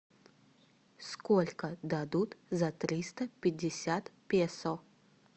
сколько дадут за триста пятьдесят песо